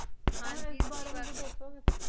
ਹਨ ਗ ਐਸ ਬਾਰੇ ਵਿਚ ਕੁਝ ਦੱਸੋ ਗੇ